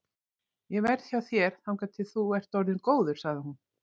Ég verð hjá þér þangað til þú ert orðinn góður, sagði hún.